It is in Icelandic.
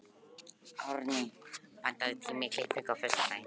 Árney, pantaðu tíma í klippingu á föstudaginn.